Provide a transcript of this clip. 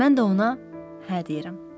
Mən də ona hə deyirəm.